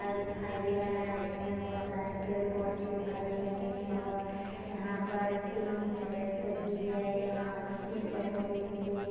park दिखाई दे रहा है जिसमें बहुत सारे पेड़ पौधे दिखाई दे रहे है और यह पर तीन चैट भी है यहाँ तीन चैटो के नीचे --